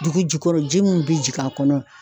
Dugu jukɔrɔ ji mun bi jigin a kɔnɔ